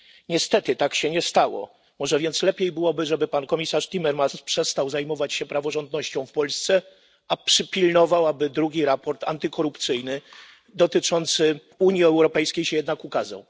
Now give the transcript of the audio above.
Niestety tak się nie stało. Może więc lepiej byłoby, żeby pan komisarz Timmermans przestał zajmować się praworządnością w Polsce, a przypilnował, by drugi raport antykorupcyjny dotyczący Unii Europejskiej się jednak ukazał.